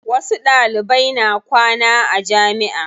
Wasu Ɗalibai na kwana a jamiʼa.